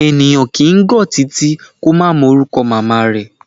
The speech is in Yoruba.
Ènìyàn kìí gọ̀ titi, kó má mọ orúkọ màmá rẹ̀.